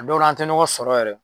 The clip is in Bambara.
A dɔw ra an te ɲɔgɔn sɔrɔ yɛrɛ